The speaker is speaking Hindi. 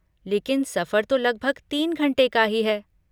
लेकिन, सफर तो लगभग तीन घंटे का ही है।